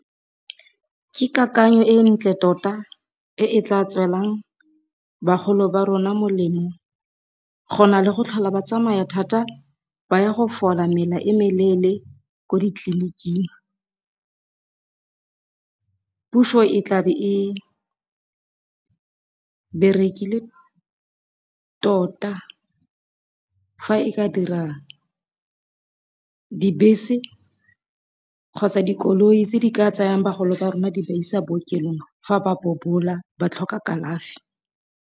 Ke kakanyo e ntle tota e tla tswelang bagolo ba rona molemo go na le go tlhola batsamaya thata ba ya go fola mela e meleele ko ditleliniking, puso e tlabe e berekile tota fa e ka dira dibese kgotsa dikoloi tse di ka tsayang bagolo ba rona di ba isa bookelong fa ba bobola ba tlhoka kalafi.